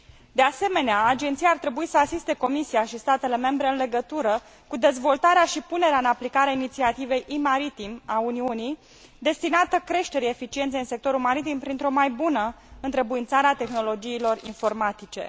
De asemenea, Agenția ar trebui să asiste Comisia și statele membre în legătură cu dezvoltarea și punerea în aplicare a inițiativei e maritim a Uniunii, destinată creșterii eficienței în sectorul maritim printr o mai bună întrebuințare a tehnologiilor informatice.